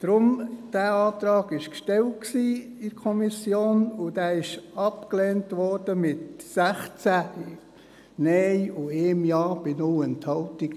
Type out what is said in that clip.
Deshalb: Dieser Antrag war in der Kommission gestellt, und er wurde abgelehnt mit 16 Nein und 1 Ja bei 0 Enthaltungen.